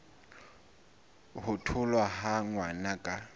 ho tholwa ha ngwana ka